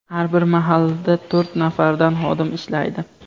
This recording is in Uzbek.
Har bir mahallada to‘rt nafardan xodim ishlaydi.